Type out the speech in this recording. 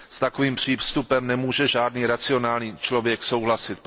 S takovým přístupem nemůže žádný racionální člověk souhlasit.